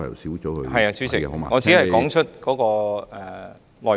是的，主席，我只是說出內容。